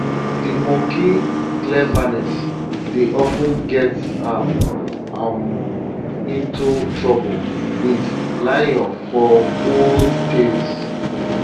de monkey cleverness dey of ten get am um into trouble wit lion for old tales